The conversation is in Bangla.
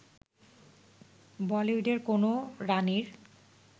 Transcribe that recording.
বলিউডের কোন রাণীর